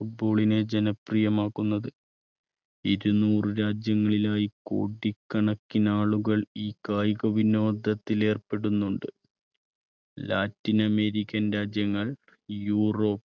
football നെ ജനപ്രിയമാക്കുന്നത്. ഇരുനൂറ് രാജ്യങ്ങളിലായി കോടിക്കണക്കിന് ആളുകൾ ഈ കായിക വിനോദത്തിൽ ഏർപ്പെടുന്നുണ്ട് ലാറ്റിൻ അമേരിക്കൻ രാജ്യങ്ങൾ യൂറോപ്പ്